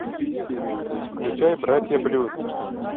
включай братья блюз